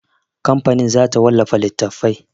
Kamfanin za ta wallafa littatafai.